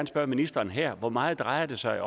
spørge ministeren her hvor meget drejer det sig